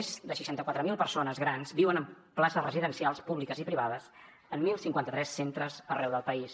més de seixanta quatre mil persones grans viuen en places residencials públiques i privades en deu cinquanta tres centres arreu del país